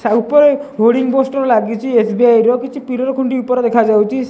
ଛା ଉପର hoarding poster ଲାଗିଚି ଏସ_ବି_ଆଇ ର କିଛି ପିଲର ଖୁଣ୍ଟି ଉପର ଦେଖାଯାଉଚି।